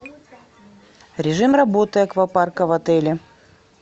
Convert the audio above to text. режим работы аквапарка в отеле